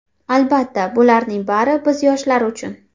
Albatta, bularning bari biz yoshlar uchun.